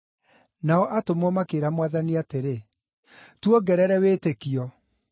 Nao atũmwo makĩĩra Mwathani atĩrĩ, “Tuongerere wĩtĩkio!”